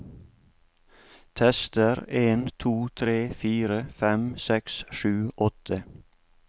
Tester en to tre fire fem seks sju åtte